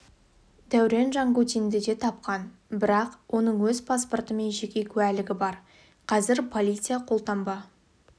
дәурен жангутинді де тапқан бірақ оның өз паспорты мен жеке куәлігі бар қазір полиция қолтаңба